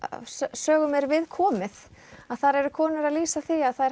sögum er viðkomið eru konur að lýsa því að þær